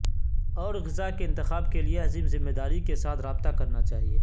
اور غذا کے انتخاب کے لئے عظیم ذمہ داری کے ساتھ رابطہ کرنا چاہئے